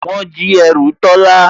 Wọ́n jí ẹrù Tọ́lá